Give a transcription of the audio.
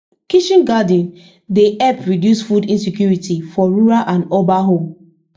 kitchen garden dey help reduce food insecurity for rural and urban home